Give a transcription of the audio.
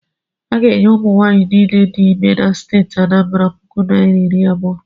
A ga-enye ụmụnwaanyị niile dị ime na steeti Anambara puku naira iri abụọ.